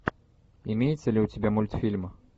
имеется ли у тебя мультфильм